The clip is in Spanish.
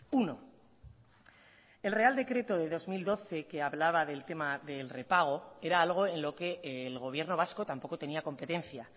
uno el real decreto de dos mil doce que hablaba del tema del repago era algo en lo que el gobierno vasco tampoco tenía competencia